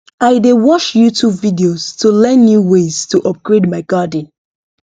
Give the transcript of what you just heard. i dey watch youtube videos to learn new ways to upgrade my garden